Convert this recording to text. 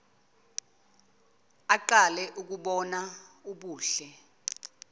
aqale ukubona ubuhle